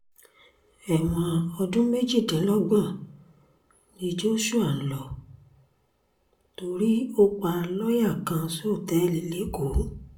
ẹ̀wọ̀n ọdún méjìdínlọ́gbọ̀n ni joshua ń lò torí ó pa lọ́ọ̀yà kan sọ́tẹ́ẹ̀lì lẹ́kọ̀ọ́